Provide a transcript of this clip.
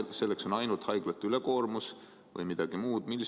Kas selleks on ainult haiglate ülekoormuse vältimine või midagi muud?